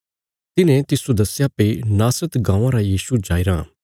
तिन्हें तिस्सो दस्या भई नासरत गाँवां रा यीशु जाईराँ